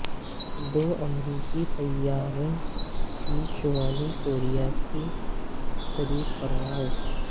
دو امریکی طیاروں کی شمالی کوریا کے قریب پرواز